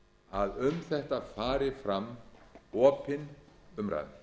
að um þetta fari fram opin umræða